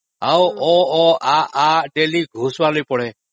ଆଉ ଅ..ଅ.. ଆ..ଆ.. ଘୋଷିବାକୁ ପଡୁଥାଏ